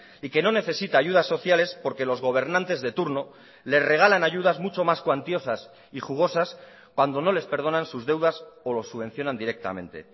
y que no necesita ayudas sociales porque los gobernantes de turno le regalan ayudas mucho más cuantiosas y jugosas cuando no les perdonan sus deudas o lo subvencionan directamente